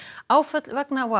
áföll vegna WOW